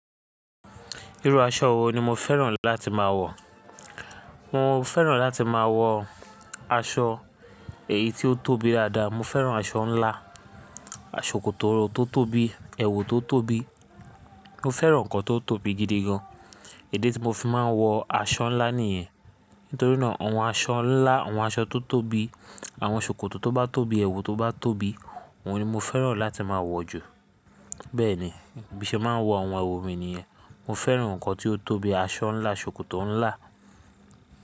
Irú aṣọ wo ni mo fẹ́ràn láti máa wọ̀? Mo fẹ́ràn láti máa wọ aṣọ èyí ti ó tóbi dáadáa. Mo fẹ́ràn aṣọ ńlá, ṣòkòtò tó tóbi, èwù tó tóbi. Mo fẹ́ràn ǹkan tó tóbi gidi gan. Ìdí tí mo fi máa ń wọ aṣọ ńlá nìyẹn. Nítorí náà àwọn aṣọ ńlá, àwọn aṣọ tó tóbi, àwọn ṣòkòtò tó bá tóbi, èwù tó bá tóbi, òun ni mo fẹ́ràn láti máa wọ̀ jù. Bẹ́ẹ̀ ni, bí mo ṣe máa ń wọ àwọn èwù mi nìyẹn. Mo fẹ́ràn ǹkan tí ó tóbi, aṣọ ńlá, ṣòkòtò ńlá.